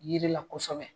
Yiri la kosɛbɛ